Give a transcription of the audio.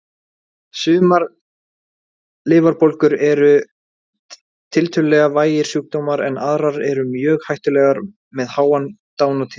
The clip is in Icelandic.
Sumar lifrarbólgur eru tiltölulega vægir sjúkdómar en aðrar eru mjög hættulegar með háa dánartíðni.